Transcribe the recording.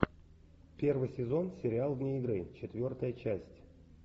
первый сезон сериал вне игры четвертая часть